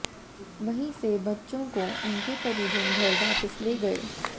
वहीं से बच्चों को उनके परिजन घर वापस ले गए